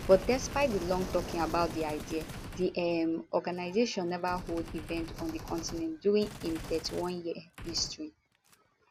but despite long talking about di idea di um organisation neva hold event on di continent during im 31year history